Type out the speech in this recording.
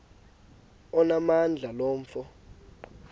onamandla lo mfo